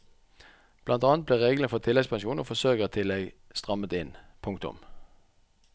Blant annet ble reglene for tilleggspensjon og forsørgertillegg strammet inn. punktum